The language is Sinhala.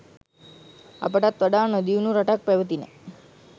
අපටත් වඩා නොදියුණු රටක්ව පැවතිණ.